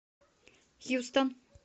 хьюстон